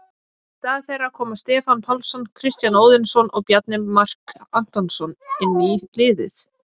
Í stað þeirra koma Stefán Pálsson, Kristján Óðinsson og Bjarni Mark Antonsson inn í liðið.